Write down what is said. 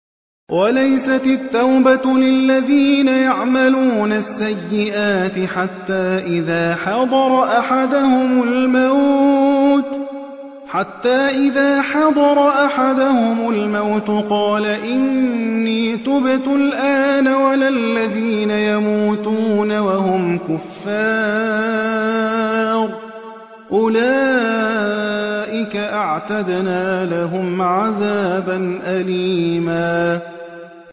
وَلَيْسَتِ التَّوْبَةُ لِلَّذِينَ يَعْمَلُونَ السَّيِّئَاتِ حَتَّىٰ إِذَا حَضَرَ أَحَدَهُمُ الْمَوْتُ قَالَ إِنِّي تُبْتُ الْآنَ وَلَا الَّذِينَ يَمُوتُونَ وَهُمْ كُفَّارٌ ۚ أُولَٰئِكَ أَعْتَدْنَا لَهُمْ عَذَابًا أَلِيمًا